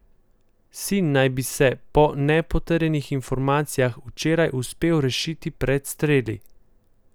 Sin naj bi se, po še nepotrjenih informacijah, včeraj uspel rešiti pred streli.